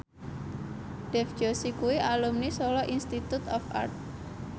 Dev Joshi kuwi alumni Solo Institute of Art